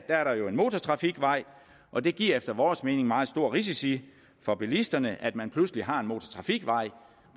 er der jo en motortrafikvej og det giver efter vores mening meget store risici for bilisterne at man pludselig har en motortrafikvej